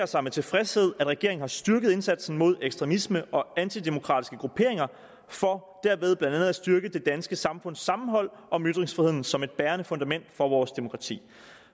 sig med tilfredshed at regeringen har styrket indsatsen mod ekstremisme og antidemokratiske grupperinger for derved blandt andet at styrke det danske samfunds sammenhold om ytringsfriheden som et bærende fundament for vores demokrati